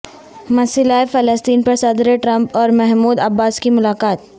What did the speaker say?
مسئلہ فلسطین پر صدر ٹرمپ اور محمود عباس کی ملاقات